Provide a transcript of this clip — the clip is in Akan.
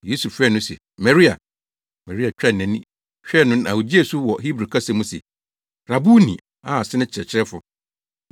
Yesu frɛɛ no se, “Maria!” Maria twaa nʼani hwɛɛ no na ogyee so wɔ Hebri kasa mu se, “Rabuni!” (a ase ne “Kyerɛkyerɛfo”).